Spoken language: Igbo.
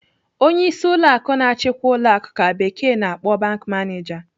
Onyeisi ụlọ akụ na-achikwa ụlọ akụ ka bekee na-akpọ 'bank manager.'